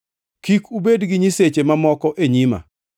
“Kik ubed gi nyiseche mamoko e nyima.